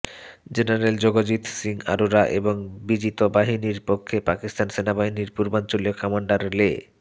general Jagjit Singh Aurora এবং বিজিত বাহিনীর পক্ষে পাকিস্তান সেনাবাহিনীর পূর্বাঞ্চলীয় কামান্ডার লে